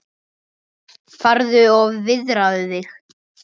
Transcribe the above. Farðu og viðraðu þig